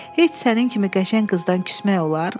Heç sənin kimi qəşəng qızdan küsmək olar?